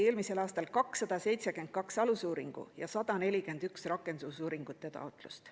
Eelmisel aastal esitati 272 alusuuringu ja 141 rakendusuuringu taotlust.